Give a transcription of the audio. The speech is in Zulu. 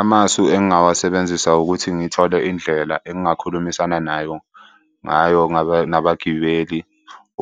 Amasu engingawasebenzisa ukuthi ngithole indlela engingakhulumisana nayo ngayo nabagibeli